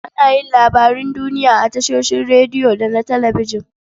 Ana yin labarun duniya a tashoshin rediyo da na talabijin.